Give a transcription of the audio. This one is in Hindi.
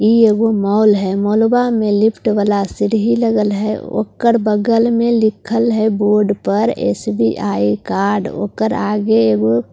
ये वो मॉल है मॉलवा में लिफ्ट वाला सीरी लगल है उका बगल में लिखल है बोर्ड पर एस_वी_आई कार्ड ऊकर आगे वो कुर्सी --